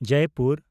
Jaipur